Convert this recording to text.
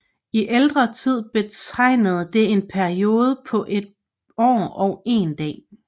I ældre tid betegnede det en periode på et år og en dag